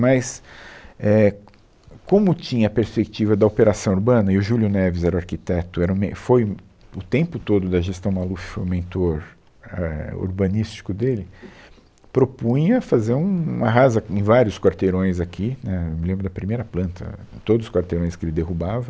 Mas, é, como tinha a perspectiva da operação urbana, e o Júlio Neves era o arquiteto, era o men, foi o, o tempo todo da gestão Maluf foi o mentor, éh, urbanístico dele, propunha fazer um, um arrasa em vários quarteirões aqui, né, eu me lembro da primeira planta, todos os quarteirões que ele derrubava,